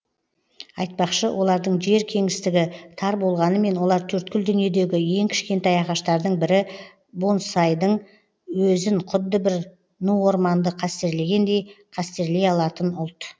айтпақшы олардың жер кеңістігі тар болғанымен олар төрткүл дүниедегі ең кішкентай ағаштардың бірі бонсайдың өзін құдды бір ну орманды қастерлегендей қастерлей алатын ұлт